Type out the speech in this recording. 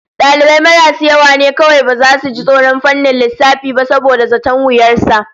Dalibai marasu yawa ne kawai baza su ji tsoron fannin lissafi ba saboda zaton wuyar sa